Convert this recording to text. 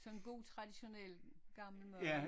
Sådan en god traditionel gammel mad